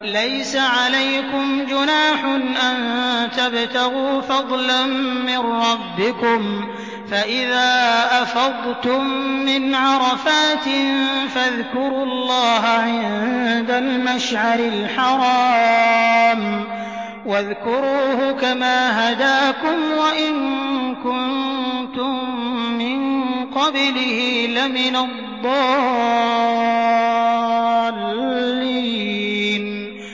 لَيْسَ عَلَيْكُمْ جُنَاحٌ أَن تَبْتَغُوا فَضْلًا مِّن رَّبِّكُمْ ۚ فَإِذَا أَفَضْتُم مِّنْ عَرَفَاتٍ فَاذْكُرُوا اللَّهَ عِندَ الْمَشْعَرِ الْحَرَامِ ۖ وَاذْكُرُوهُ كَمَا هَدَاكُمْ وَإِن كُنتُم مِّن قَبْلِهِ لَمِنَ الضَّالِّينَ